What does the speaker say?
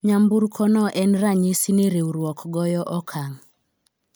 nyamburko no en ranyisi ni riwruok goyo okang'